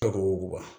Takoba